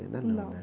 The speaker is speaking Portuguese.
Não.inda não, né?